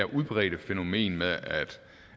udbredte fænomen med